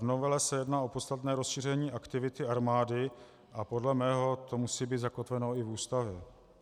V novele se jedná o podstatné rozšíření aktivity armády a podle mého to musí být zakotveno i v Ústavě.